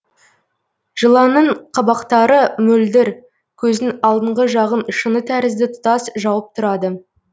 жыланның қабақтары мөлдір көздің алдыңғы жағын шыны тәрізді тұтас жауып тұрады